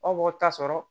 Aw b'o ta sɔrɔ